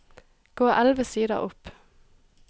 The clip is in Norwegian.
Gå elleve sider opp